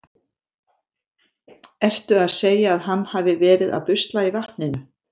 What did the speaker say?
Ertu að segja að hann hafi verið að busla í vatninu?